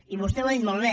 i vostè ho ha dit molt bé